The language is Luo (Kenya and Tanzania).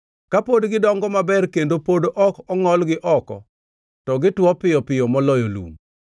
Kapod gidongo maber kendo pod ok ongʼolgi oko, to gitwo piyo moloyo lum.